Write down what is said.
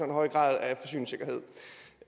høj grad